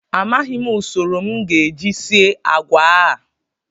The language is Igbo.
Amaghịm usoro m ga-eji sie agwa a